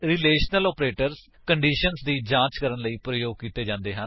relational operators conditions ਦੀ ਜਾਂਚ ਕਰਨ ਲਈ ਪ੍ਰਯੋਗ ਕੀਤੇ ਜਾਂਦੇ ਹਨ